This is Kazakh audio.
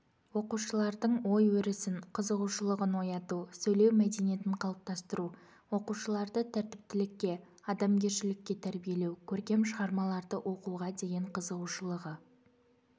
оқушылардың ой-өрісін қызығушылығын ояту сөйлеу мәдениетін қалыптастыру оқушыларды тәртіптілікке адамгершілікке тәрбиелеу көркем шығармаларды оқуға деген қызығушылығын